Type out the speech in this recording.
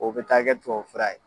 O bɛ taa kɛ tubabu fura ye.